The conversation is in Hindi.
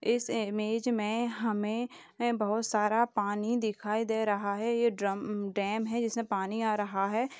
इस इमेज में हमें बहुत सारा पानी दिखाई दे रहा है। यह ड्रम - डैम है जिसमें पानी आ रहा है।